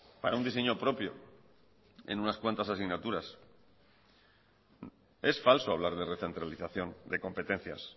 para un diseño propio en unas cuantas asignaturas es falso hablar de recentralización de competencias